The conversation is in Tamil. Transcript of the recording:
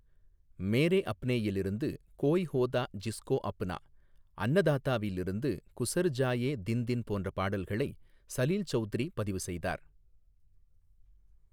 மேரே அப்னேயில் இருந்து 'கோய் ஹோதா ஜிஸ்கோ அப்னா' , அன்னதாத்தாவில் இருந்து 'குஸர் ஜாயே தின் தின்' போன்ற பாடல்களை சலீல் சவுத்ரி பதிவு செய்தார்.